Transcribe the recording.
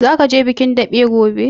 Zaka je bikin daɓe gobe?